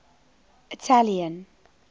italian